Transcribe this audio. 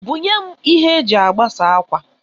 Bunyem ihe e ji agbasa akwa